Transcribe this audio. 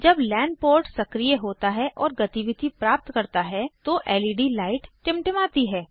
जब LAN port सक्रीय होता है और गतिविधि प्राप्त करता है तो लेड लाइट टिमटिमाती है